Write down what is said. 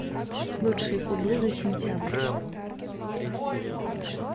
лучшие кубы за сентябрь